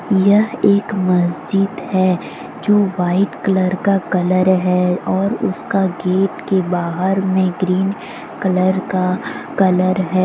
यह एक मस्जिद है जो व्हाइट कलर का कलर है और उसका गेट के बाहर में ग्रीन कलर का कलर है।